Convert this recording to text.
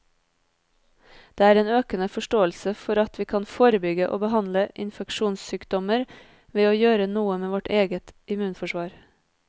Det er en økende forståelse for at vi kan forebygge og behandle infeksjonssykdommer ved å gjøre noe med vårt eget immunforsvar.